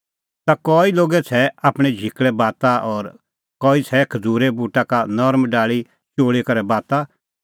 ता कई लोगै छ़ैऐ आपणैं झिकल़ै बाता और कई छ़ैई खज़ूरे बूटा का नरम डाल़ी चोल़ी करै बाता